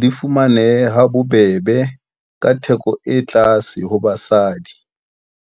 di fumanehe ha bobebe ka theko e tlase ho basadi.